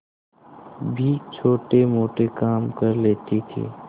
भी छोटेमोटे काम कर लेती थी